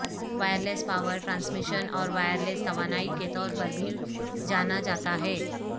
wireless power transmission اور wireless توانائی کے طور پر بھی جانا جاتا ہے